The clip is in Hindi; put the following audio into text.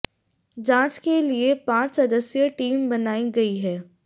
जांच के लिए पंाच सदस्यीय टीम बनाई गई है